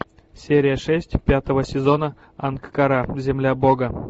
серия шесть пятого сезона ангкора земля бога